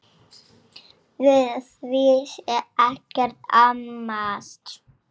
Við því sé ekkert amast.